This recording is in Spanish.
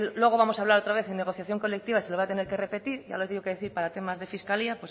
luego vamos a hablar otra vez en negociación colectiva se lo voy a tener que repetir ya lo he tenido que decir para temas de fiscalía